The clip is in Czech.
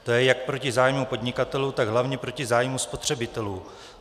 To je jak proti zájmu podnikatelů, tak hlavně proti zájmu spotřebitelů.